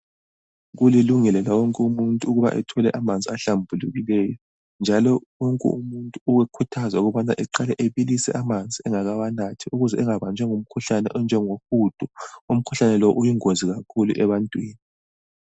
Kulilungelo lawonke umuntu ukuthi athole amanzi ahlambulukileyo njalo wonke umuntu uyakhuthazwa ukuthi aqale abilise amanzi engakawanathi ukuze angabambi umkhuhlane onjengohudo. Umkhuhlane lo uyingozi kakhulu ebantwini.